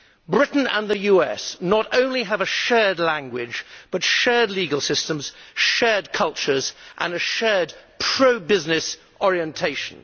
Britain and the US not only have a shared language but shared legal systems, shared cultures and a shared pro business orientation.